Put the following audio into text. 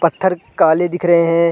पत्त्थर काले दिख रहे हैं ।